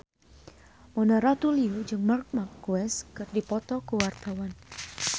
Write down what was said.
Mona Ratuliu jeung Marc Marquez keur dipoto ku wartawan